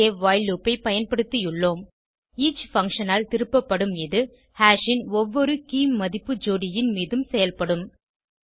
இங்கே while loop ஐ பயன்படுத்தியுள்ளோம் ஈச் பங்ஷன் ஆல் திருப்பப்படும் இது ஹாஷ் ன் ஒவ்வொரு keyமதிப்பு ஜோடியின் மீதும் செயல்படும்